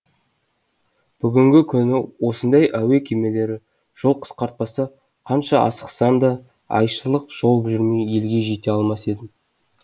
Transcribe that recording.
бүгінгі күні осындай әуе кемелері жол қысқартпаса қанша асықсам да айшылық жол жүрмей елге жете алмас едім